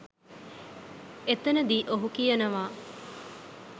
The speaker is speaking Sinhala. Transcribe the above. එතනදි ඔහු කියනවා